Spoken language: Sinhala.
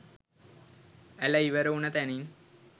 ඇළ ඉවර වුණ තැනින්